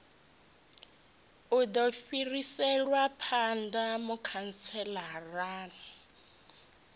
u do fhiriselwa phanda mukhantselara